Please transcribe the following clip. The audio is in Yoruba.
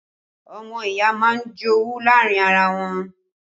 Ọmọ ìyá máa ń jowú láàrin ara wọ́n